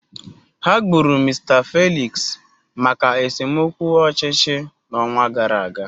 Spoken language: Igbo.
Ha gburu Mr Felix maka esemokwu ọchịchị n'ọnwa gara aga.